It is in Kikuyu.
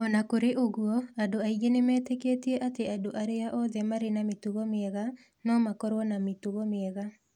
O na kũrĩ ũguo, andũ aingĩ nĩ metĩkĩtie atĩ andũ arĩa othe marĩ na mĩtugo mĩega no makorũo na mĩtugo mĩega.